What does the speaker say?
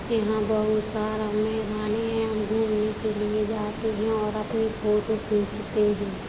यहाँ बोहोत सारा मैदाने हैं। हम घूमनें के लिए जाते हैं और अपनी फोटो खींचते हैं।